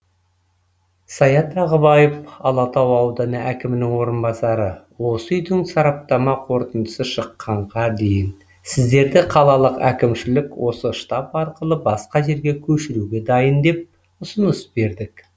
саят ағыбаев алатау ауданы әкімінің орынбасары осы үйдің сараптама қорытындысы шыққанға дейін сіздерді қалалық әкімшілік осы штаб арқылы басқа жерге көшіруге дайын деп ұсыныс бердік